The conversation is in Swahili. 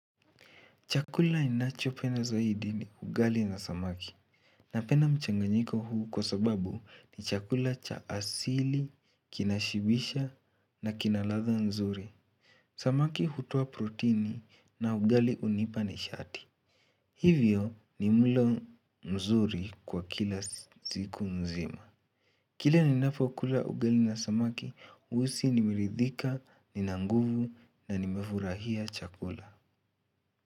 Chakula ninachopenda zaidi ni ugali na samaki. Napenda mchanganyiko huu kwa sababu ni chakula cha asili, kinashibisha na kina ladha nzuri. Samaki hutoa protini na ugali unipa ni shati. Hivyo ni mlo mzuri kwa kila siku mzima. Kila ni napokula ugali na samaki, huhisi nimeridhika, nina nguvu na nimefurahia chakula.